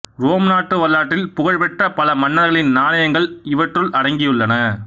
Rome நாட்டு வரலாற்றில் புகழ்பெற்ற பல மன்னர்களின் நாணயங்கள் இவற்றுள் அடங்கியுள்ளன